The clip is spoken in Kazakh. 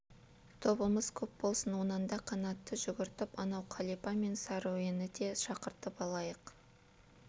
тобымыз көп болсын онан да қанатты жүгіртіп анау қалипа мен сәруені де шақыртып алайық